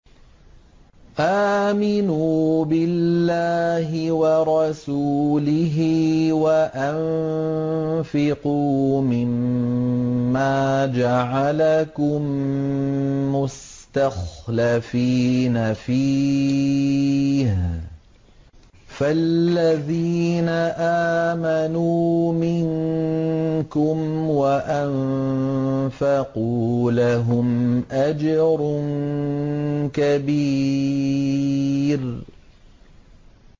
آمِنُوا بِاللَّهِ وَرَسُولِهِ وَأَنفِقُوا مِمَّا جَعَلَكُم مُّسْتَخْلَفِينَ فِيهِ ۖ فَالَّذِينَ آمَنُوا مِنكُمْ وَأَنفَقُوا لَهُمْ أَجْرٌ كَبِيرٌ